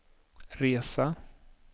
resa